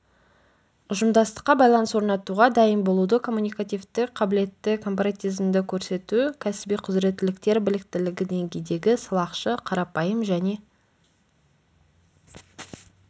ұжымдастыққа байланыс орнатуға дайын болуды коммуникативтік қабілетті корпоратизмді көрсету кәсіби құзыреттіліктер біліктілігі деңгейдегі сылақшы қарапайым және